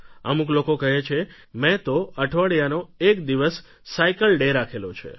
અમુક લોકો કહે છે કે મેં તો અઠવાડિયાનો એક દિવસે સાઇકલડે રાખેલો છે